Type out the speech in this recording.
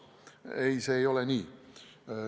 Ei, see ei käi nii.